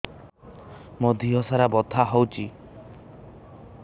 ମୋ ଦିହସାରା ବଥା ହଉଚି